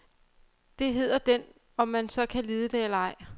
Det hedder den, om man så kan lide det eller ej.